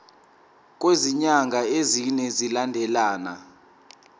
kwezinyanga ezine zilandelana